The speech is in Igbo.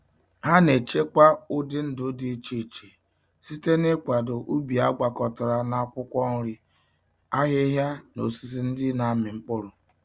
Ha na-echekwa ụdị ndụ dị iche iche site n'ịkwado ubi agwakọtara na akwụkwọ nri, ahịhịa, na osisi ndị na-amị mkpụrụ.